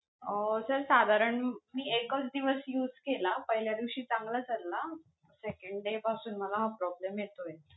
अं sir साधारण मी एकच दिवस use केला, पहिल्या दिवशी चांगला चालला, second day पासून मला हा problem येतोय.